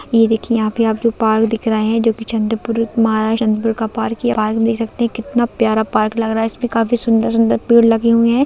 ये देखिए यहाँ पे पार्क दिख रही है जो की चंदपुर एक माल चंदपुर का पार की पार्क देख सकते है कितना प्यारा पार्क लग रहा है इसमे काफी सुन्दर सुन्दर पेड़ लगे हुए है।